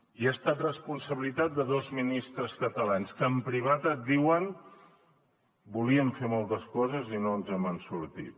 i ha estat responsabilitat de dos ministres catalans que en privat et diuen volíem fer moltes coses i no ens n’hem sortit